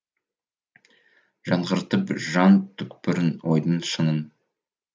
жаңғыртып жан түкпірін ойдың шыңын